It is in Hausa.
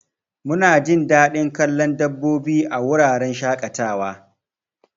Munajin dadin kallon dabbobi a wuraren shaƙatawa.